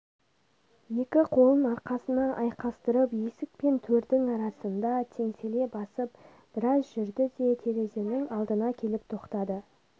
екі қолын арқасына айқастырып есік пен төрдің арасында теңселе басып біраз жүрді де терезенің алдына келп тоқтады